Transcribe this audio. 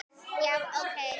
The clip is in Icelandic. Já, ok.